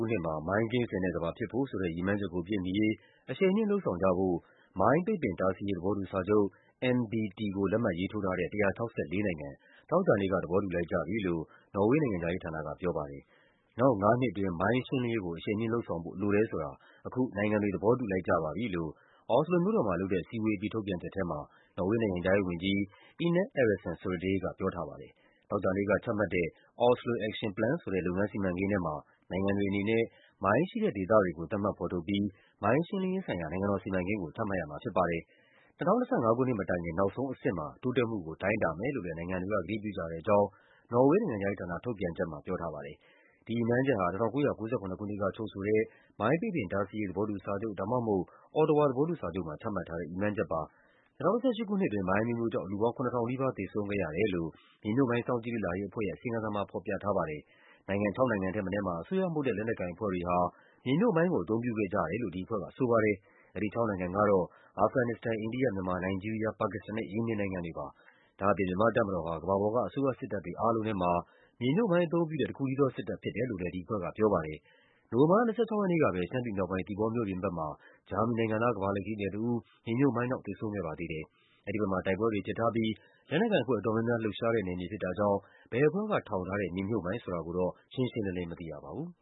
ုနှစ်မှာ မိုင်းကင်းစင်တဲ့ကမ္ဘာဖြစ်ဖို့ဆိုတဲ့ ရည်မှန်းချက်ကိုပြည့်မီရေး အရှိန်မြှင့်လုပ်ဆောင်ကြဖို့ မိုင်း ပိတ်ပင်တားဆီးရေး သဘောတူစာချုပ် (MBT) ကို လက်မှတ်ရေးထိုးထားတဲ့ ၁၆၄ နိုင်ငံ သောကြာနေ့ သဘောတူလိုက်ကြပြီလို့ နော်ဝေး နိုင်ငံခြား ရေးဌာနက ပြောပါတယ်။ “နောက်ငါးနှစ်အတွင်း မိုင်းရှင်းလင်းရေးကို အရှိန်မြှင့်လုပ်ဆောင်ဖို့ လိုတယ်ဆိုတာ အခု နိုင်ငံတွေ သဘောတူလိုက်ကြပါပြီ” လို့ အော်စလိုမြို့တော်မှာလုပ်တဲ့ အစည်းအဝေးအပြီး ထုတ်ပြန်ချက်ထဲမှာ နော်ဝေးနိုင်ငံခြားရေးဝန်ကြီး Ine Eriksen Soreide က ပြောထားပါတယ်။ သောကြာနေ့ကချမှတ်တဲ့ “Oslo Action Plan” ဆိုတဲ့ လုပ်ငန်းစီမံကိန်းထဲမှာ နိုင်ငံတွေအနေနဲ့ မိုင်းရှိတဲ့ဒေသတွေကို သတ်မှတ် ဖော်ထုတ်ပြီး မိုင်းရှင်းလင်းရေးဆိုင်ရာ နိုင်ငံတော်စီမံကိန်းကို ချမှတ်ရမှာဖြစ်ပါတယ်။ ၂၀၂၅ ခုနှစ်မတိုင်ခင် နောက်ဆုံးအဆင့်မှာ တိုးတက်မှုကို တိုင်းတာမယ်လို့လည်း နိုင်ငံတွေက ကတိပြုကြတဲ့အကြောင်း နော်ဝေး နိုင်ငံခြားရေးဌာန ထုတ်ပြန်ချက်မှာ ဖော်ပြထားပါတယ်။ ဒီရည်မှန်းချက်ဟာ ၁၉၉၇ ခုနှစ်က ချုပ်ဆိုတဲ့ မိုင်း ပိတ်ပင်တားဆီးရေး သဘောတူစာချုပ် ဒါမှမဟုတ် Ottawa သဘောတူစာချုပ်မှာ ချမှတ်ထားတဲ့ ရည်မှန်းချက်ပါ။ ၂၀၁၈ ခုနှစ်အတွင်း မိုင်းအမျိုးမျိုးကြောင့် လူပေါင်း ၇,၀၀၀ နီးပါး သေဆုံးခဲ့ရတယ်လို့ မြေမြှုပ်မိုင်း စောင့်ကြည့်လေ့လာရေးအဖွဲ့ရဲ့ အစီရင်ခံစာမှာ ဖော်ပြထားပါတယ်။ နိုင်ငံခြောက်နိုင်ငံထက်မနည်းမှာ အစိုးရမဟုတ်တဲ့ လက်နက်ကိုင်အဖွဲ့တွေဟာ မြေမြှုပ်မိုင်း ကို အသုံးပြုခဲ့ကြတယ်လို့ ဒီအဖွဲ့ကဆိုပါတယ်။ အဲဒီခြောက်နိုင်ငံကတော့ အာဖဂန်နစ္စတန်၊ အိန္ဒိယ၊ မြန်မာ၊ နိုင်ဂျီးရီးယား၊ ပါကစ္စတန်နဲ့ ယီမင်နိုင်ငံတွေဖြစ်ပါတယ်။ ဒါ့အပြင် မြန်မာ့တပ်မတော်ဟာ ကမ္ဘာပေါ်က အစိုးရစစ်တပ်တွေအားလုံးထဲမှာ မြေမြှုပ် မိုင်းအသုံးပြုတဲ့ တခုတည်းသောစစ်တပ် ဖြစ်တယ်လို့လည်း ဒီအဖွဲ့ကပြောပါတယ်။ နိုဝင်ဘာလ ၂၆ ရက်နေ့ကပဲ ရှမ်းပြည်မြောက်ပိုင်း၊ သီပေါမြို့ပြင်ဘက်မှာ ဂျာမနီနိုင်ငံသား ကမ္ဘာလှည့်ခရီးသည်တဦး မြေမြှုပ်မိုင်း ကြောင့် သေဆုံးခဲ့ပါသေးတယ်။ အဲဒီဘက်မှာ တိုက်ပွဲတွေဖြစ်ထားဖူးပြီး လက်နက်ကိုင်အဖွဲ့ အတော်များများ လှုပ်ရှားတဲ့ နယ်မြေ ဖြစ်တာကြောင့် ဘယ်အဖွဲ့ကထောင်ထားတဲ့ မြေမြှုပ်မိုင်းဆိုတာကိုတော့ ရှင်းရှင်းလင်းလင်း မသိရပါဘူး။